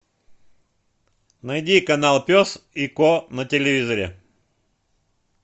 найди канал пес и ко на телевизоре